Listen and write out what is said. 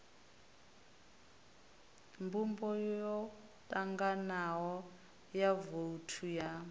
mbumbo yotanganaho ya vouthu ya